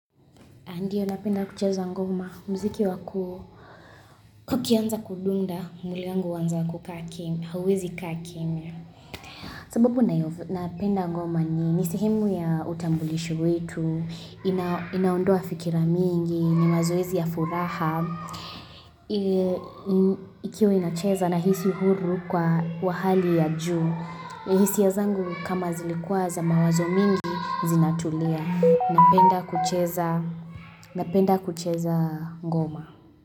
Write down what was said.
Ndiyo napenda kucheza ngoma, mziki wa kuu, kukianza kudunda, mwili yangu huanza kukaa kimya, huwezi kaa kimya. Sababu napenda ngoma ni ni sehemu ya utambulisho wetu, inaondoa fikira mingi, ni mazoezi ya furaha. Ikiwe inacheza nahisi huru kwa wa hali ya juu, na hisia zangu kama zilikuwa za mawazo mingi, zinatulia. Napenda kucheza ngoma.